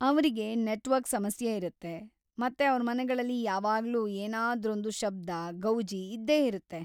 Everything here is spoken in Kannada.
ಅವ್ರಿಗೆ ನೆಟ್ವರ್ಕ್‌ ಸಮಸ್ಯೆ ಇರುತ್ತೆ, ಮತ್ತೆ ಅವ್ರ್ ಮನೆಗಳಲ್ಲಿ ಯಾವಾಗ್ಲೂ ಏನಾದ್ರೊಂದು ಶಬ್ದ, ಗೌಜಿ ಇದ್ದೇ ಇರತ್ತೆ.